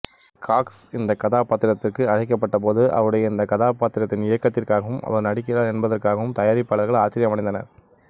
Cox இந்த கதாபாத்திரத்திற்கு அழைக்கப்பட்டபோது அவருடைய இந்தக் கதாபாத்திரத்தின் இயக்கத்திற்காகவும் அவர் நடிக்கிறார் என்பதற்காகவும் தயாரிப்பாளர்கள் ஆச்சரியமடைந்தனர்